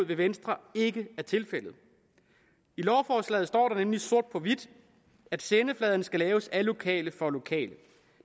venstre ikke er tilfældet i lovforslaget står der nemlig sort på hvidt at sendefladen skal laves af lokale for lokale